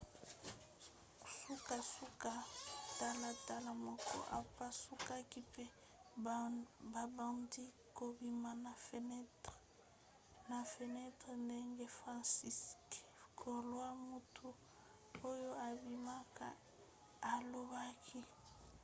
sukasuka talatala moko epasukaki mpe babandaki kobima na fenentre ndenge franciszek kowal moto oyo abikaki alobaki